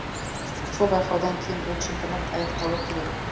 сол байқаудан кейін бұл чемпионат аяқталуы керек